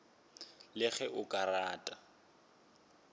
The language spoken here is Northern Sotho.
le ge o ka rata